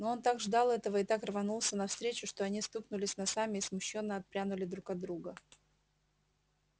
но он так ждал этого и так рванулся навстречу что они стукнулись носами и смущённо отпрянули друг от друга